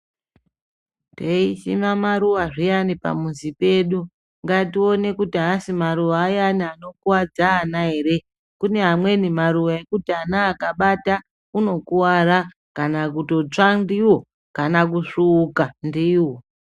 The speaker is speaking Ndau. Tei sima maruva zviyani pamuzi pedu ngationekuti haasi maruva ayani anokokuvadza ana ere. Kune amweni maruva ekuti ana akabata unokuvara kana kutotswa ndivo kana kusvuuka ndivo.